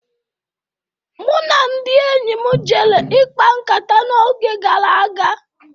Mụ na ndị enyi m jere ikpa nkata n'oge gara aga.